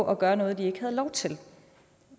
at gøre noget de ikke havde lov til